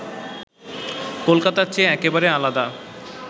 কলকাতার চেয়ে একেবারে আলাদা